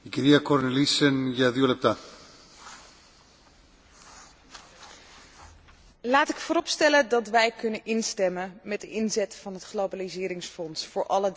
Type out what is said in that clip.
Voorzitter, laat ik vooropstellen dat wij kunnen instemmen met de inzet van het globaliseringsfonds voor deze drie aanvragen.